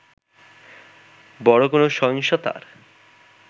বড় কোন সহিংসতার